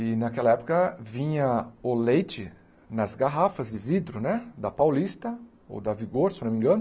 E naquela época vinha o leite nas garrafas de vidro né da Paulista ou da Vigor, se não me engano.